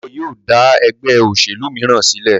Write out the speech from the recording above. Debo yíò da ègbé òṣèlú míràn sílè.